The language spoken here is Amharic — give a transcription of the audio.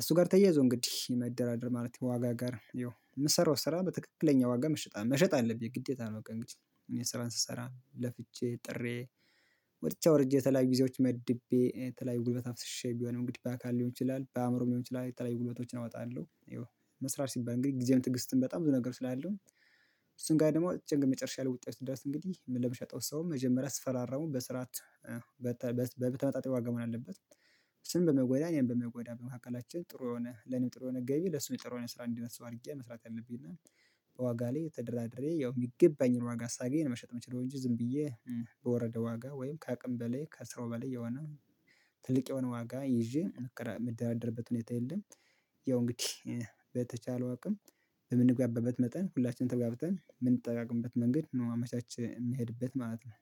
እሱ ጋር ተያይዞ እንግዲህ መደራደር ማለት የዋጋ ጋር ያው የምሰራው ስራ በትክክለኛ ዋጋ መሸጥ አለብኝ ግዴታ ነው። ቀን እኔ ስራን ስሰራ ለፍቼ ጥሬ ወጥቼ አወርጄ የተለያዩ ጊዜዎች መድቤ የተለያዩ ጉልበት አፍስሼ ቢሆንም እንግዲህ በአካል ሊሆን ይችላል በአእምሮም ሊሆን ይችላል የተለያዩ ጉልበቶችን አወጣለሁ። ይኸው መስራት ሲባል እንግዲህ ጊዜም ትዕግስትም በጣም ብዙ ነገር ስላለው እሱን ጋር ደግሞ ጭንቅ መጨረሻ ውጤት ድረስ እንግዲህ ለምሸጠው ሰው መጀመሪያ አስፈራራሙ በስርዓት በተመጣጣኝ ዋጋ መሆን አለበት። እሱንም በማይጎዳ እኔንም በማይጎዳ በመካከላችን ጥሩ የሆነ ለኔም ጥሩ የሆነ ገቢ ለሱም የጥሩ የሆነ ስራ እንዲሆን አድርጌ መስራት አለብኝ። እና ዋጋ ላይ ተደራድሬ ያው የሚገባኝን ዋጋ ሳገኝ መሸጥ የምችለው እንጂ ዝም ብዬ በወረደ ዋጋ ወይም ከአቅም በላይ ከስሮ በላይ የሆነ ትልቅ የሆነ ዋጋ ይዤ ምደራደርበት ሁኔታ የለም። ያው እንግዲህ በተቻለው አቅም በምንግባባበት መጠን ሁላችንም ተግባብተን የምንጠቃቀምበት መንገድ ነው አመቻችተን የምንሄድበት ማለት ነው